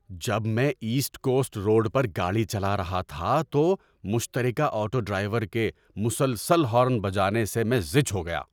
جب میں East Coast Road پر گاڑی چلا رہا تھا تو مشترکہ آٹو ڈرائیور کے مسلسل ہارن بجانے سے میں زِچ ہو گیا۔